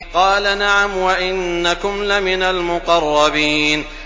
قَالَ نَعَمْ وَإِنَّكُمْ لَمِنَ الْمُقَرَّبِينَ